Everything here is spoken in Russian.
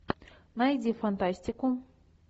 найди фантастику